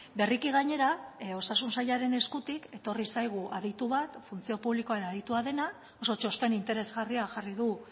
berriki gainera osasun sailaren eskutik etorri zaigu aditu bat funtzio publikoan aditua dena oso txosten interesgarria jarri du